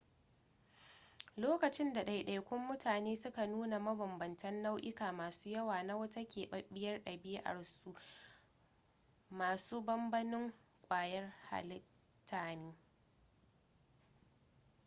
lokacin da ɗaiɗaikun mutane suka nuna mabambantan nau'uka masu yawa na wata keɓaɓɓiyar ɗabi'a su masu banbanin ƙwayar halitta ne